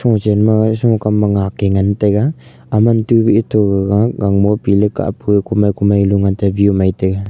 po chen ma kam ma ngank ke ngan tai ga ema tu be ato aga gagah gangmo piley kamo kumai kumai lo ngan tega view e mei tega.